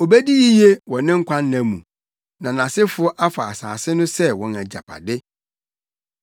Obedi yiye wɔ ne nkwanna mu, na nʼasefo afa asase no sɛ wɔn agyapade.